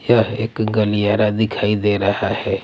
यह एक गलियारा दिखाई दे रहा हैं।